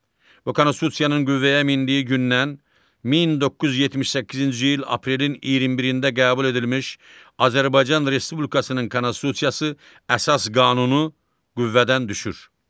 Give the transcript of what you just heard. Bu konstitusiyanın qüvvəyə mindiyi gündən 1978-ci il aprelin 21-də qəbul edilmiş Azərbaycan Respublikasının konstitusiyası əsas qanunu qüvvədən düşür.